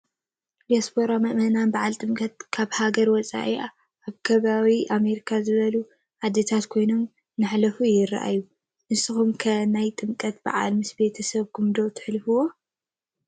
ዲያስፖራ ምእመናን በዓል ጥምቀት ካብ ሃገርና ወፃኢ ኣብ ከም ኣሜሪካ ዝበሉ ዓድታት ኮይኖም እንተሕልፍዎ የርኢ፡፡ ንስኻትኩም ከ ናይ ጥምቀት በዓል ምስ ቤተ ሰብኩም ዶ ትሕልፍዎ?